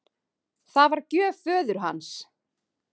Það var gjöf föður hans.